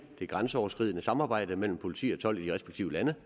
det grænseoverskridende samarbejde mellem politi og tolv respektive lande